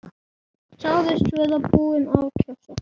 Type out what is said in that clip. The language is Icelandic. Sagðist vera búinn að kjósa.